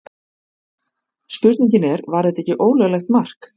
Spurningin er var þetta ekki ólöglegt mark?